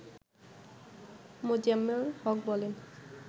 মোজাম্মেল হক বলেন